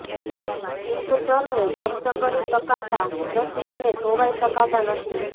ટિંકચરને જપ્ત કરી શકાતા નથી અને ધોવાઇ શકાતા નથી